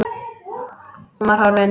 Hún var horfin.